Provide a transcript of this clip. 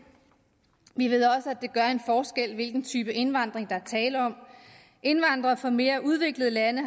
vi ved også at det gør en forskel hvilken type indvandring der er tale om indvandrere fra mere udviklede lande